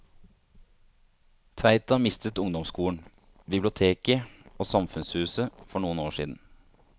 Tveita mistet ungdomsskolen, biblioteket og samfunnshuset for noen år siden.